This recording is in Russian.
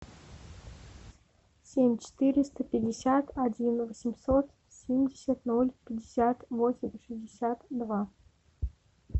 семь четыреста пятьдесят один восемьсот семьдесят ноль пятьдесят восемь шестьдесят два